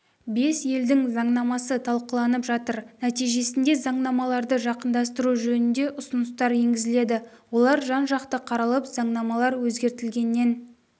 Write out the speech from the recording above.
бес елдің заңнамасы талқыланып жатыр нәтижесінде заңнамаларды жақындастыру жөнінде ұсыныстар енгізіледі олар жан-жақты қаралып заңнамалар өзгертілгеннен